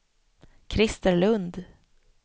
Krister Lundh